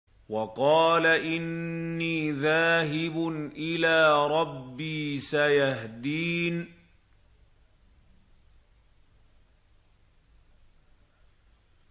وَقَالَ إِنِّي ذَاهِبٌ إِلَىٰ رَبِّي سَيَهْدِينِ